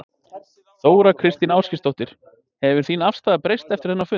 Þóra Kristín Ásgeirsdóttir: Hefur þín afstaða breyst eftir þennan fund?